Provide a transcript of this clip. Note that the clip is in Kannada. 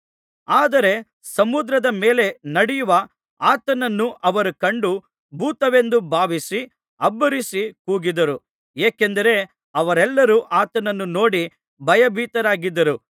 ಆದರೆ ಸಮುದ್ರದ ಮೇಲೆ ನಡೆಯುವ ಆತನನ್ನು ಅವರು ಕಂಡು ಭೂತವೆಂದು ಭಾವಿಸಿ ಅಬ್ಬರಿಸಿ ಕೂಗಿದರು ಏಕೆಂದರೆ ಅವರೆಲ್ಲರೂ ಆತನನ್ನು ನೋಡಿ ಭಯಭೀತರಾಗಿದ್ದರು